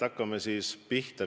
Hakkame siis pihta.